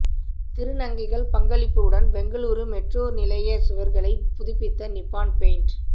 திருநங்கைகள் பங்களிப்புடன் பெங்களூரு மெட்ரோ நிலையச் சுவர்களைப் புதுப்பித்த நிப்பான் பெயிண்ட்